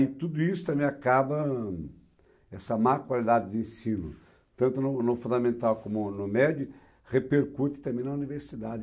E tudo isso também acaba, essa má qualidade de ensino, tanto no no fundamental como no médio, repercute também na universidade.